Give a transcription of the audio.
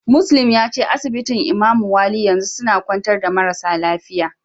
Muslim yace asibitin Imamu wali yanzu suna kwantar da marasa lafiya.